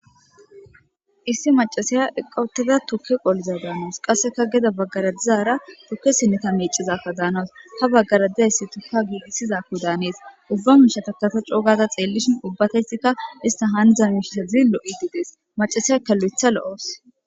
Issi maccassiya eqqada tuuke qollizayssa danawussu qasseka geede baggera dizzara tuuke siinetta meccizayssa danawusu ha baggera dizayssika tuuke giigisizassa danessi ubba mishshata ta coo gaada xellishshin ubbati issiti haaniza mishshezi lo'ishshe de'ssi maccasiyaka lo'aththa lo'aawussu.